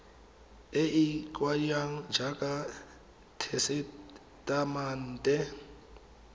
e e kaiwang jaaka tesetamente